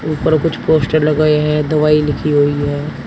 ऊपर कुछ पोस्टर लगाए हैं दवाई लिखी हुई है।